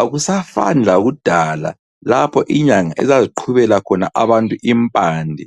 Akusafani lakudala lapho inyanga ezaziqhubela khona abantu impande.